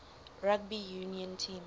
rugby union team